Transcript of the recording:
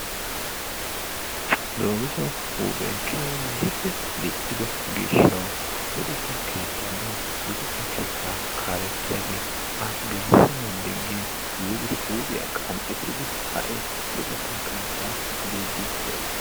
Dogiso huuphee keehippe diccido gishshawu luxetta keettappe luxetta keettaa kaalettiyaage a geelisenan digin yiidi huuphiya qanxxidi hai luxetta keettaa biidi de'ees.